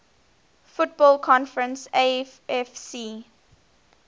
football conference afc